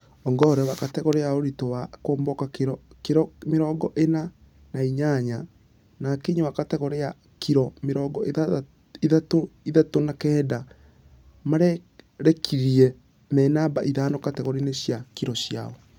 Ongare wa kategore ya ũritũ wa kuomboka kiro mĩrongo ĩna na inyanya na akinyi wa kategore ya ........ya kiro mĩrongo ithathatũ na kenda mararekirie me namba ithano kategore cia kiro ciao.